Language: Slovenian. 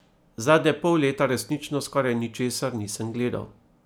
Zadnje pol leta resnično skoraj ničesar nisem gledal.